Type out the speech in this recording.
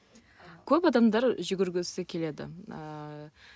көп адамдар жүгіргісі келеді ііі